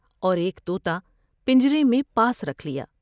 اور ایک تو تا پنجرے میں پاس رکھ لیا ۔